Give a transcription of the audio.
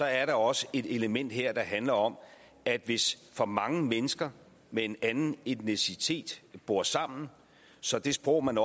andet også er et element her der handler om at hvis for mange mennesker med en anden etnicitet bor sammen så det sprog man